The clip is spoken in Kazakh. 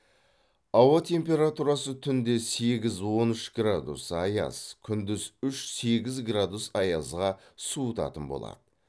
ауа температурасы түнде сегіз он үш градус аяз күндіз үш сегіз градус аязға суытатын болады